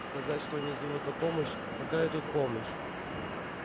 сказать что они зовут на помощь какая тут помощь